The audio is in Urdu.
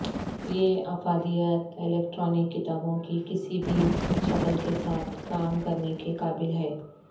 یہ افادیت الیکٹرانک کتابوں کی کسی بھی شکل کے ساتھ کام کرنے کے قابل ہے